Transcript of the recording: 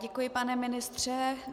Děkuji, pane ministře.